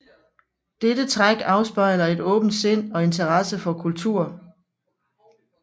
Dette træk afspejler et åbent sind og interesse for kultur